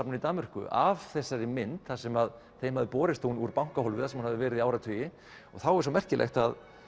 í Danmörku af þessari mynd þar sem þeim hafði borist hún úr bankahólfi þar sem hún hafði verið í áratugi og þá er svo merkilegt